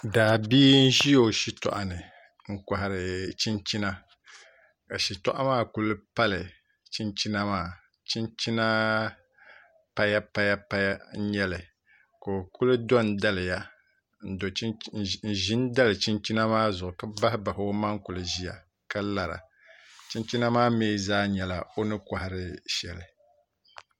Daabia n ʒi o shitoɣu ni n kohari chinchina ka shitoɣu maa ku pali chinchina maa chinchina paya paya paya n nyɛli ka o kuli do n daliya n ʒi n dali chinchina maa zuɣu ka bahi bahi o maŋ kuli ʒiya ka lara chinchina maa mii zaa nyɛla o ni kohari shɛli